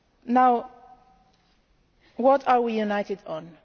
Now, what are we united on?